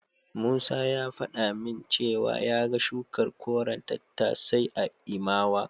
Musa ya faɗa min cewa ya ga shukar koren tattasai a Imawa.